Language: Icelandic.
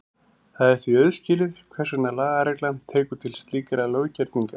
Það er því auðskilið hvers vegna lagareglan tekur til slíkra löggerninga.